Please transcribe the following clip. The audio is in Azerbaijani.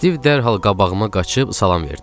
Stiv dərhal qabağıma qaçıb salam verdi.